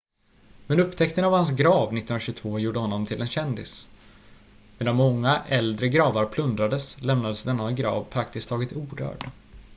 men upptäckten av hans grav 1922 gjorde honom till en kändis medan många äldre gravar plundrades lämnades denna grav praktiskt taget orörd